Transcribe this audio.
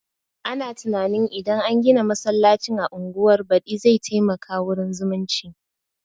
Ana tunanin idan an gina masallacin a unguwar badi zai taimaka wurin zumunci